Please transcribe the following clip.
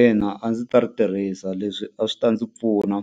Ina a ndzi ta ri tirhisa, leswi a swi ta ndzi pfuna